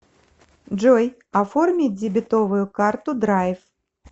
джой оформи дебетовую карту драйв